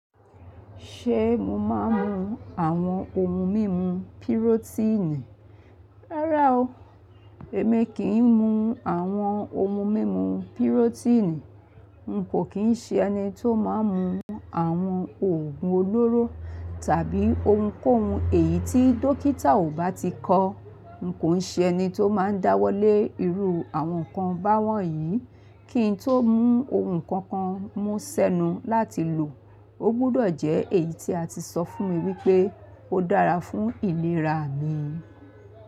Ṣé mo máa ń mu àwọn ohun mímu pirotíìnì? Rárá o, èmi kì í mu àwọn ohun mímu pirotíìnì. N kò kí ń ṣe ẹni tó máa ń mu àwọn òògun olóró tàbí ohunkóhun èyí tí dọ́kítà ò bá ti kọ́. N kò ṣe ẹni tó máa ń dáwọ́lé irú àwọn nǹkan báwọ́n yìí. Kí ń tó mú ohun kankan mù sẹ́nu láti lò, ó gbọdọ̀ jẹ́ èyí tí a ti sọ fún mi wípé ó dára fún ìlera mi.